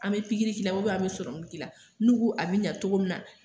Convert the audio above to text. An mɛ pikiri k'i an bɛ k'i la n'u ko a bɛ ɲa cogo min na